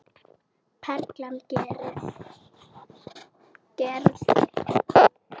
Perlan gerði.